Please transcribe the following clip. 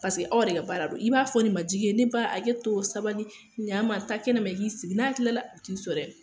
Paseke aw de ka baara ldon, i b'a fɔ ni majigin ye , ne ba hakɛ to sabali, ɲan ma, taaa taa kɛnɛ ma, i ik'i sigi n'a tilala , a bɛ t'i sɔrɔ yen.